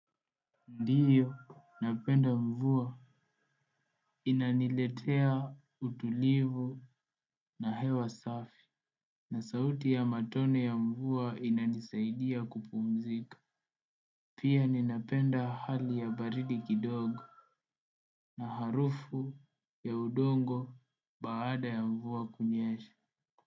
Ndiyo, napenda mvua. Inaniletea utulivu na hewa safi. Na sauti ya matone ya mvua inanisaidia kupumzika. Pia ninapenda hali ya baridi kidogo. Na harufu ya udongo baada ya mvua kunyesha.